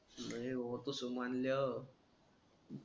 नही ओ तस मणल्या